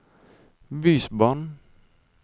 bysbarn